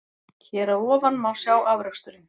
Hér að ofan má sjá afraksturinn.